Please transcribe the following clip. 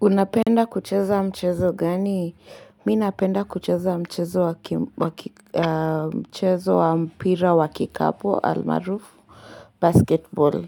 Unapenda kucheza mchezo gani? Mi napenda kucheza mchezo wa mpira wa kikapu, almarufu, basketball.